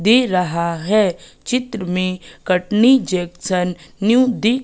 दे रहा हैं चित्र में कटनी जेक्सन न्यू दि--